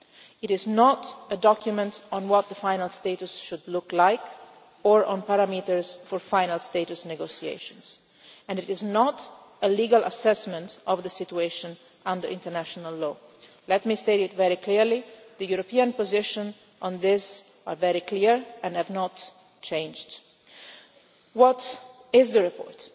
not. It is not a document on what the final status should look like or on parameters for final status negotiations and it is not a legal assessment of the situation under international law. Let me state clearly that the European position on this is very clear and has not changed. What is the